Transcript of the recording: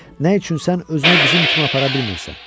Nə üçün sən özünü bizim kimi apara bilmirsən?